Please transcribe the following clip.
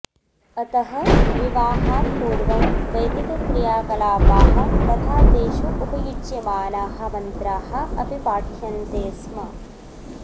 अतः विवाहात्पूर्वं वैदिकक्रियाकलापाः तथा तेषु उपयुज्यमाणाः मन्त्राः अपि पाठ्यन्ते स्म